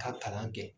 Ka kalan kɛ